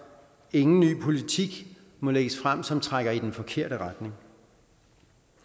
ingen ny politik må lægges frem som trækker i den forkerte retning